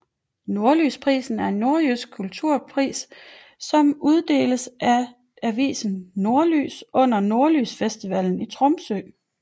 Nordlysprisen er en norsk kulturpris som uddeles af avisen Nordlys under Nordlysfestivalen i Tromsø